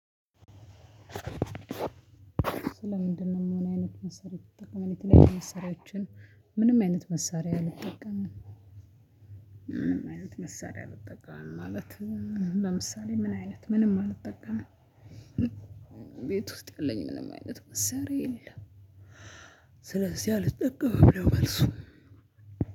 ስለ ምንድነው የምሆነው አይነት መሰሪያ ተጠቅመን የተለየ መሰሪያዎችን ምንም አይነት መሳሪያ አልጠቀምም ምንም አይነት መሳሪያ አልጠቀምም። ማለት ለምሳሌ ምን? አይነት ምንም አልጠቀምም። ቤት ውስጥ ያለኝ ምንም አይነት ስራ የለም። ስለዚህ አልተጠቀምም ብለው መልሱ